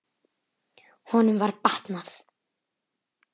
Honum var batnað.